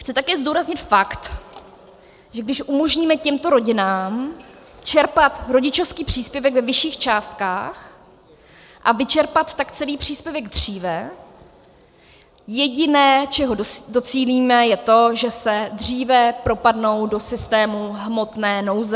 Chci také zdůraznit fakt, že když umožníme těmto rodinám čerpat rodičovský příspěvek ve vyšších částkách a vyčerpat tak celý příspěvek dříve, jediné, čeho docílíme, je to, že se dříve propadnou do systému hmotné nouze.